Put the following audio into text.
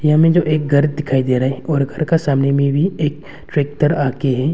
यहां में जो एक घर दिखाई दे रहा है और घर का सामने में भी एक ट्रैक्टर आ के है।